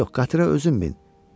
Yox, qatıra özün min.